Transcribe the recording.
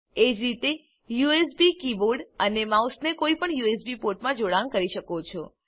એજ રીતે તમે USB keyboard અને માઉસને કોઈપણ યુએસબી પોર્ટમાં જોડાણ કરી શકો છો